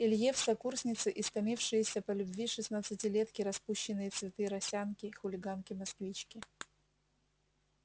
илье в сокурсницы истомившиеся по любви шестнадцатилетки распущенные цветы росянки хулиганки-москвички